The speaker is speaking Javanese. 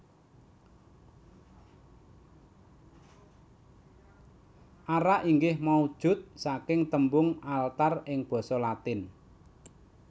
Ara inggih maujud saking tembung altar ing basa Latin